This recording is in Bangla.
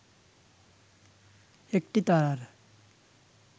একটি তারার